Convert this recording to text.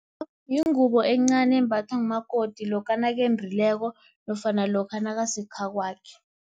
Yingubo encani, embathwa ngumakoti lokha nakendileko, nofana lokha nakasekhakwakhe.